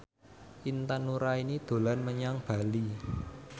Intan Nuraini dolan menyang Bali